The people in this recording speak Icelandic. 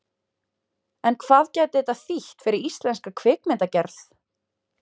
En hvað gæti þetta þýtt fyrir íslenska kvikmyndagerð?